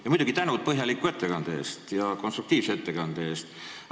Ja muidugi aitäh põhjaliku ja konstruktiivse ettekande eest!